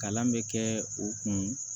Kalan bɛ kɛ u kun